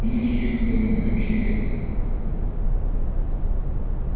мужчина понимающе кивнул